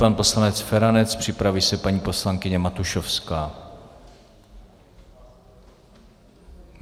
Pan poslanec Feranec, připraví se paní poslankyně Matušovská.